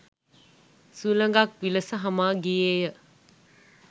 සුළඟක් විලස හමා ගියේය.